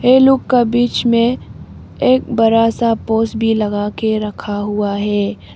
ये लोग का बीच में एक बड़ा सा पोज भी लगा के रखा हुआ है।